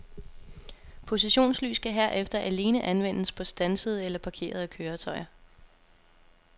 Positionslys kan herefter alene anvendes på standsede eller parkerede køretøjer.